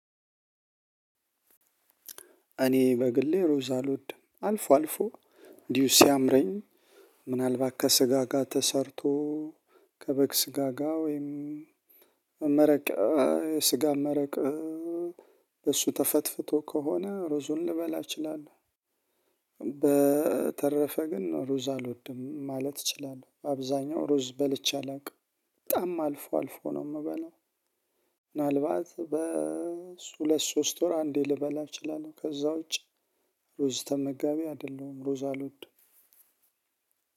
እኔ በግሌ ሮዛ አልወድም አልፎ አልፎ እንዲሁ ሲያምረኝ ምናልባት ከስጋ ጋር ተሰርቶ ከበግ ስጋ ጋ ወይም መመረቅ ስጋ መረቅ በእሱ ተፈትፍቶ ከሆነ ሩዙን ልበላ እችላለሁ። በተረፈ ግን ሩዝ አልወድም ማለት እችላለሁ አብዛኛው ሩዝ በልቼ አላውቅም በጣም አልፎ አልፎ ነው የምበለው። ምናልባት በሁለት ሶስት ወር አንዴ ልበላ እችላለሁ ከዛ ውጪ ሩዝ ተመጋቢ አይደለሁም። ሩዝ አልወደም